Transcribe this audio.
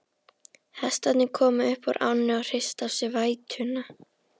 Hestarnir komu upp úr ánni og hristu af sér vætuna.